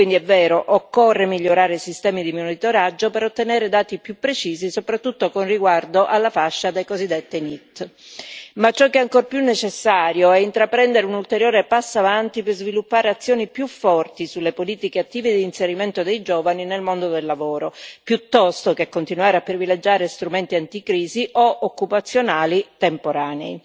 Quindi è vero, occorre migliorare i sistemi di monitoraggio per ottenere dati più precisi soprattutto riguardo alla fascia dei cosiddetti NEET. Ciò che tuttavia è ancor più necessario è intraprendere un ulteriore passo avanti per sviluppare azioni più forti sulle politiche attive di inserimento dei giovani nel mondo del lavoro, piuttosto che continuare a privilegiare strumenti anticrisi o occupazionali temporanei.